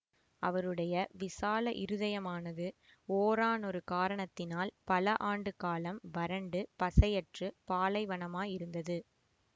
அவருடைய விசால இருதயமானது ஓரானொரு காரணத்தினால் பல ஆண்டு காலம் வறண்டு பசையற்றுப் பாலைவனமாயிருந்தது